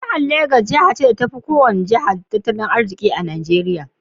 Jihar Lagos she ne Jihar da ya fi tatali arziki a Najeria.